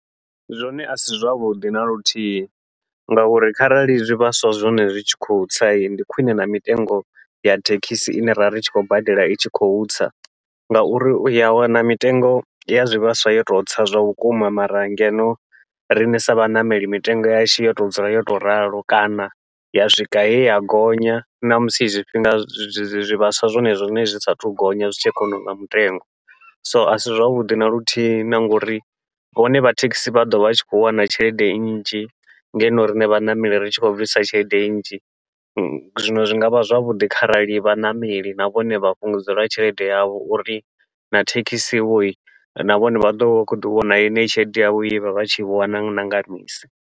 Zwone asi zwavhuḓi naluthihi ngauri kharali zwivhaswa zwone zwi tshi khou tsa ndi khwiṋe na mitengo ya thekhisi ine ra ri tshi khou badela i tshi khou tsa, ngauri uya wana mitengo ya zwivhaswa yo tou tsa zwavhukuma mara ngeno riṋe sa vhaṋameli mitengo yashu yo to dzula yo tou ralo, kana ya swika he ya gonya ṋamusi zwifhinga zwivhaswa zwone zwiṋe zwi saathu gonya zwi tshe kha honouḽa mutengo. So asi zwavhuḓi naluthihi na ngauri vhone vha thekhisi vha ḓovha tshi khou wana tshelede nnzhi, ngeno riṋe vhaṋameli ri tshi khou bvisa tshelede nnzhi zwino zwi ngavha zwavhuḓi kharali vhaṋameli na vhone vha fhungudzelwa tshelede yavho, uri na thekhisi vho na vhone vha ḓovha vha khou ḓi wana yeneyi tshelede yavho ye vha vha tshi i wana na nga misi yoṱhe.